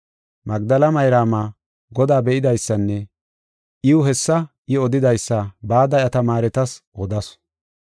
Magdela Mayraama Godaa be7idaysanne iw hessa I odidaysa bada iya tamaaretas odasu.